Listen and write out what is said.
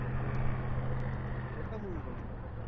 हो कोणता movie बघितला?